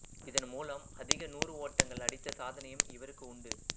இதன்மூலம் அதிக நூரு ஓட்டங்கள் அடித்த சாதனையும் இவருக்கு உண்டு